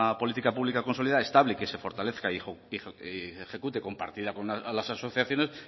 política pública consolidada estable que se fortalezca y se ejecute compartida con las asociaciones